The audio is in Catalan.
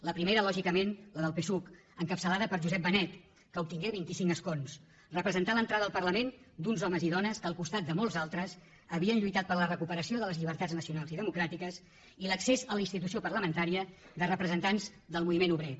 la primera lògicament la del psuc encapçalada per josep benet que obtingué vint i cinc escons representà l’entrada al parlament d’uns homes i dones que al costat de molts altres havien lluitat per a la recuperació de les llibertats nacionals i democràtiques i l’accés a la institució parlamentària de representants del moviment obrer